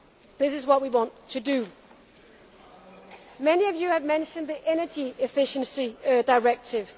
This is what we want to do. Many of you have mentioned the Energy Efficiency Directive.